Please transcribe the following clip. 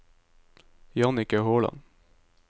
Jannicke Håland